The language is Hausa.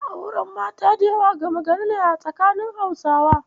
Auren mata da yawa gama gari ne a tsakanin Hausawa.